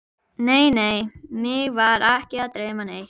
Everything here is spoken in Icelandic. Teitur sagði að væri bara nokkuð góð af viðvaningi